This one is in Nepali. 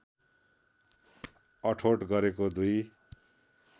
अठोट गरेका दुई